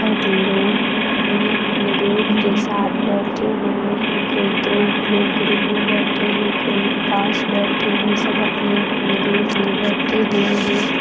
लोग अपने अपने ग्रुप के साथ बैठे हुए हैं कोई दो लोग ग्रुप में बैठे हैं कोई पांच बैठे हैं सब अपने अपने ग्रुप में बैठे हुए हैं।